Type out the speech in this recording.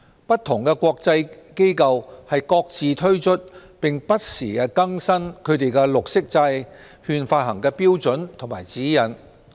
不同的國際機構各自推出，並不時更新它們的綠色債券發行標準和指引。